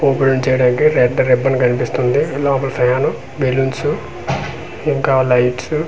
Opening చేయడానికి red ribbon కనిపిస్తుంది లోపల ఫ్యాన్ బెలున్స్ ఇంకా లైట్స్ .